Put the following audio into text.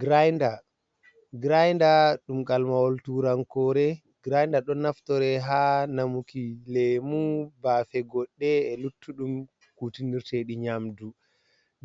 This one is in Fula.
Grinder, grinder ɗum kalmawal turankore grainder ɗon naftore ha namuki lemu, bafe goɗɗe e luttuɗum kutinirtedi nyamdu,